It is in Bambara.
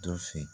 Dɔ fin